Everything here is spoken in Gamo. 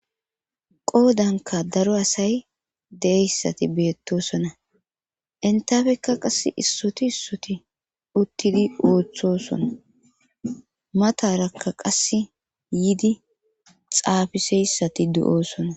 qoodanka daro asay deeyssati beettosona intafeka qass issoti issoti uttidi ooththosona matarakka qasse yidi xaafiseyssati du7oosona